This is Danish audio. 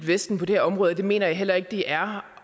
vesten på det her område og det mener jeg heller ikke det er